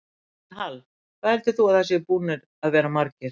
Elísabet Hall: Hvað heldur þú að það séu búnir að vera margir?